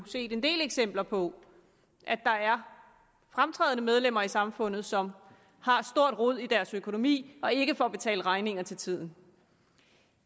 set en del eksempler på at der er fremtrædende medlemmer af samfundet som har et stort rod i deres økonomi og ikke får betalt regninger til tiden